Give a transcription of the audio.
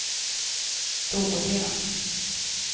dåliga